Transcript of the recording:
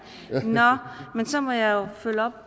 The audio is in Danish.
men så jeg jo følge op